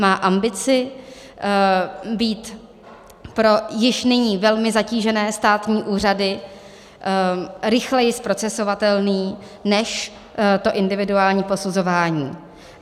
Má ambici být pro již nyní velmi zatížené státní úřady rychleji zprocesovatelný než to individuální posuzování.